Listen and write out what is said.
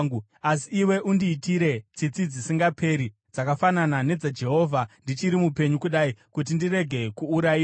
Asi iwe undiitire tsitsi dzisingaperi dzakafanana nedzaJehovha ndichiri mupenyu kudai kuti ndirege kuurayiwa,